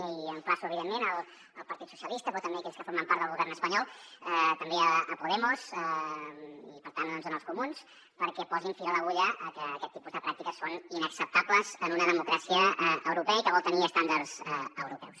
i emplaço evidentment el partit socialista però també aquells que formen part del govern espanyol també podemos i per tant doncs els comuns perquè posin fil a l’agulla a que aquest tipus de pràctiques són inacceptables en una democràcia europea i que vol tenir estàndards europeus